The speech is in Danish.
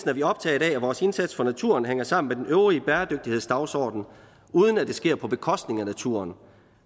er vi optaget af at vores indsats for naturen hænger sammen med den øvrige bæredygtighedsdagsorden uden at det sker på bekostning af naturen